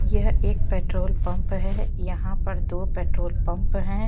यह एक petrol pump है यहाँ पर दो पेट्रोल पंप हैं।